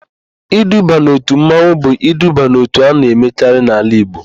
Iduba n'òtù mmanwụ bụ iduba n'òtù a na-emekarị n'ala Igbo.